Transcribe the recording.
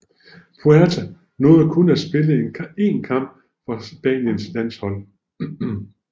Puerta nåede kun at spille en kamp for Spaniens landshold